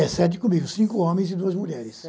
É, sete comigo, cinco homens e duas mulheres.